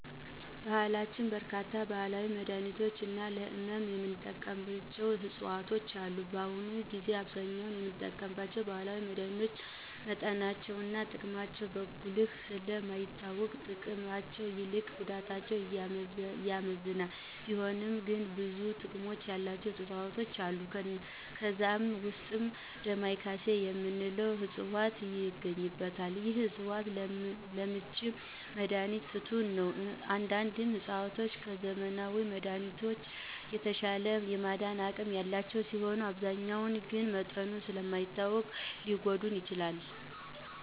በባህላችን በርካታ ባህላዊ መድሀኒቶች እና ለህመም የምንጠቀምባቸው ዕፅዋቶች አሉ። በአሁኑ ጊዜ በአብዛኛው የምንጠቀማቸው ባህላዊ መድሀኒቶች መጠናቸው እና ጥቅማቸው በጉልህ ስለ ማይታወቅ ከጥቅማቸው ይልቅ ጉዳታቸው ያመዝናል፤ ቢሆንም ግን ብዙ ጥቅም ያላቸው ዕፅዋቶች አሉ። ከነዛም ዉስጥ "ዳማካሴ " የምንለው ዕፅዋት ይገኝበታል። ይህ ዕፅዋት ለምች መድሀኒት ፍቱን ነው። አንዳንድ ዕፅዋቶች ከዘመናዊ መድሀኒቶች የተሻለ የማዳን አቅም ያላቸው ሲሆኑ አብዛኛው ግን መጠኑ ስለ ማይታወቅ ሊጐዳ ይችላል።